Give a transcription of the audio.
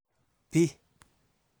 B